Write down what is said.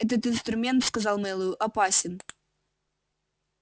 этот инструмент сказал мэллоу опасен